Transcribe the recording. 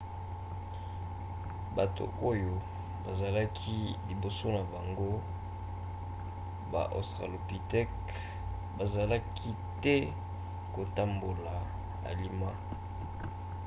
bato oyo bazalaki liboso na bango baaustralopithèque bazalaki te kotambola alima